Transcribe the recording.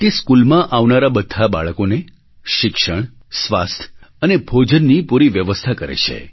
તે સ્કૂલમાં આવનારાં બધાં બાળકોને શિક્ષણ સ્વાસ્થ્ય અને ભોજનની પૂરી વ્યવસ્થા કરે છે